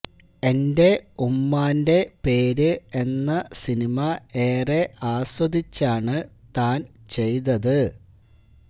എന്റെ ഉമ്മാന്റെ പേര് എന്ന സിനിമ ഏറെ ആസ്വദിച്ചാണ് താന് ചെയ്തത്